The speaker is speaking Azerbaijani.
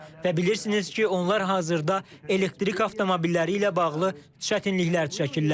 Və bilirsiniz ki, onlar hazırda elektrik avtomobilləri ilə bağlı çətinliklər çəkirlər.